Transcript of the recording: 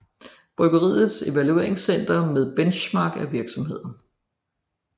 Byggeriets Evaluerings Center med benchmarking af virksomheder